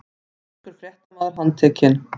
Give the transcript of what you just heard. Sænskur fréttamaður handtekinn